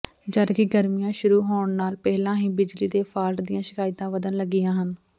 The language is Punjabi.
ਜਦਕਿ ਗਰਮੀਆਂ ਸ਼ੁਰੂ ਹੋਣ ਨਾਲ ਪਹਿਲਾਂ ਹੀ ਬਿਜਲੀ ਦੇ ਫਾਲਟ ਦੀਆਂ ਸ਼ਿਕਾਇਤਾਂ ਵਧਣ ਲੱਗੀਆਂ ਹਨ